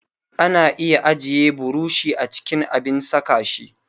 Ana iya ajiye burushi a cikin abin saka shi